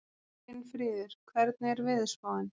Finnfríður, hvernig er veðurspáin?